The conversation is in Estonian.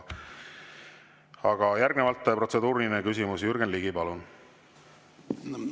Aga järgnevalt protseduuriline küsimus, Jürgen Ligi, palun!